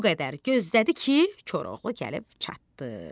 o qədər gözlədi ki, Koroğlu gəlib çatdı.